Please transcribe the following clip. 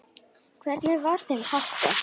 Hvernig var þeim háttað?